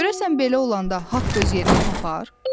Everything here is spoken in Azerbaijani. Görəsən belə olanda haqq öz yerini tapar?